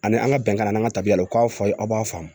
Ani an ka bɛnkan n'an ka tabiya u k'a fɔ aw ye aw b'a faamu